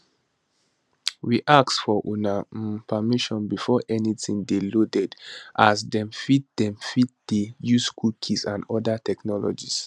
we ask for una um permission before anytin dey loaded as dem fit dem fit dey use cookies and oda technologies